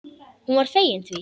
Hún var fegin því.